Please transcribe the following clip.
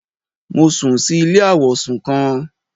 Mo sùn si ilé àwọ̀sùn kan